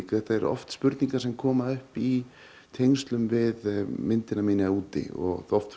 þetta eru oft spurningar sem koma upp í tengslum við myndina mína úti og oft frá